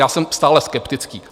Já jsem stále skeptický.